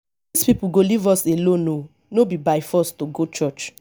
dis people go leave us alone oo no be by force to go church